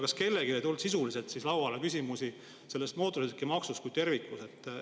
Kas kellelegi ei tulnud siis küsimusi mootorsõidukimaksu kui terviku kohta?